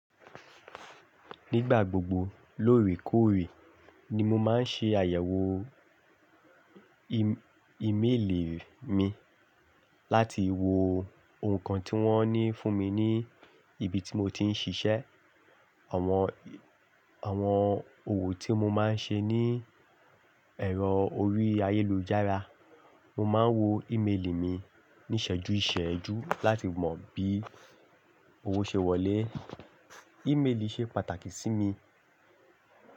Nígbà gbogbo lóòrèkóòrè ni mo máa ń ṣe àyẹ̀wò im-ímélì mi láti wo ohùn kan tí wọ́n ní fún mi ní ibi tí mo ti ń ṣiṣẹ́. Àwọn, àwọn òwò tí mo máa ń ṣe ní ẹ̀rọ orí ayélujára, mo máa ń wo ímélì mi ní ìṣẹ́jú ìṣẹ́jú láti mọ bí owó ṣe wọlé. Ímélì ṣe pàtàkì sí mi.